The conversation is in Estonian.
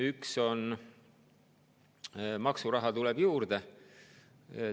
Üks on see, et maksuraha tuleb juurde.